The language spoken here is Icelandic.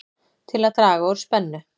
Til að draga úr spennu